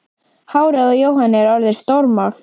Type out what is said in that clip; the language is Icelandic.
Hárið á Jóhanni er orðið stórmál.